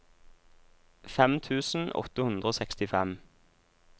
fem tusen åtte hundre og sekstifem